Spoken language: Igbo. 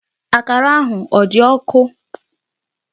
Akara ahụ ọ dị ọkụ?